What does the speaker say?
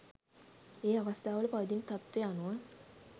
ඒ අවස්ථාවල පවතින තත්ත්ව අනුව